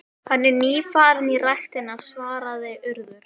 Hafborg, hvað er mikið eftir af niðurteljaranum?